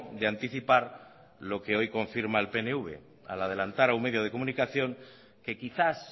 de anticipar lo que hoy confirma el pnv al adelantar a un medio de comunicación que quizás